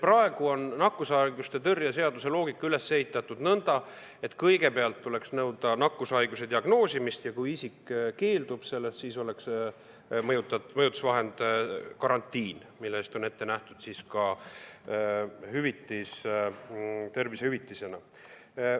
Praegu on meie nakkushaiguste ennetamise ja tõrje seaduse loogika selline, et kõigepealt tuleks nõuda nakkushaiguse diagnoosimist ja siis, kui isik sellest keeldub, tuleks mõjutusvahendina kasutada karantiini, mille eest on ette nähtud ka tervisehüvitis.